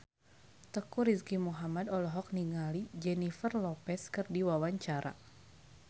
Teuku Rizky Muhammad olohok ningali Jennifer Lopez keur diwawancara